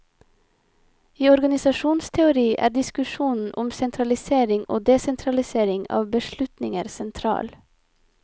I organisasjonsteori er diskusjonen om sentralisering og desentralisering av beslutninger sentral.